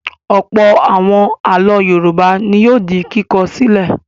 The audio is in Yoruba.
Ọ̀pọ̀ àwọn àlọ́ Yorùbá ni yóò di kíkọ sílẹ̀.